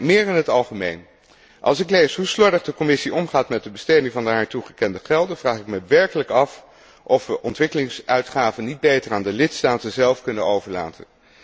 Meer in het algemeen als ik lees hoe slordig de Commissie omgaat met de besteding van de haar toegekende gelden, vraag ik mij werkelijk af of wij ontwikkelingsuitgaven niet beter aan de lidstaten zelf kunnen overlaten.